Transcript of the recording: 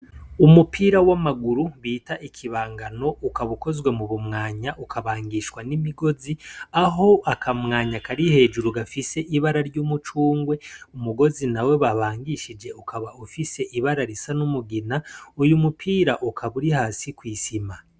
Umupira w'amaguru bita ikibangano ukaba ukozwe mu bumwanya, ukabangishwa n'imigozi; aho akamwanya kari hejuru gafise ibara ry'umucungwe umugozi na we babangishije ukaba ufise ibara risa n'umugina; uyu mupira ukaba uri hasi kw'isima.